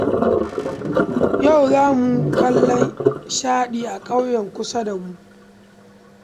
Yau za mu kallon Shaɗi a ƙauyen kusa da mu